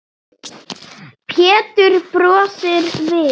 Pétur brosir við.